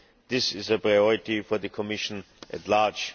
This is a priority for the Commission at large.